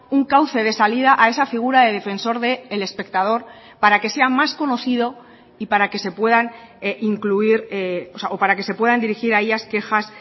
un cauce de salida a esa figura de defensor del espectador para que sea más conocido y para que se puedan incluir o para que se puedan dirigir a ellas quejas